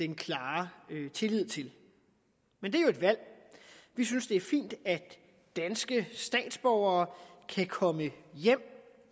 den klare tillid til men det er jo et valg vi synes det er fint at danske statsborgere kan komme hjem